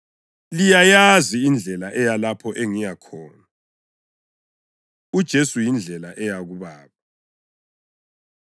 Liyayazi indlela eya lapho engiyakhona.” UJesu Yindlela Eya KuBaba